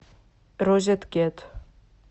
розет кет